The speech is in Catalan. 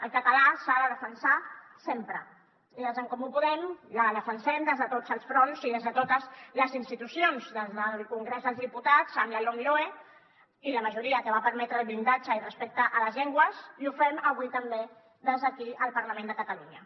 el català s’ha de defensar sempre i des d’en comú podem el defensem des de tots els fronts i des de totes les institucions des del congrés dels diputats amb la lomloe i la majoria que va permetre el blindatge i respecte a les llengües i ho fem avui també des d’aquí al parlament de catalunya